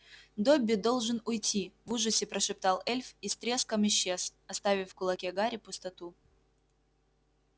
добби должен уйти в ужасе прошептал эльф и с треском исчез оставив в кулаке гарри пустоту